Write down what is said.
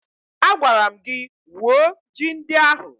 Agwara m gị wuo ji ndị ahụ!